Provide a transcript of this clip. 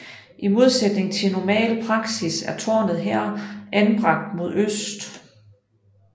I modsætning til normal praksis er tårnet her anbragt mod øst